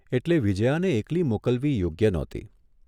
એટલે વિજ્યાને એકલી મોકલવી યોગ્ય નહોતી.